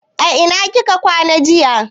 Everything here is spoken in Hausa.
A ina kika kwana jiya?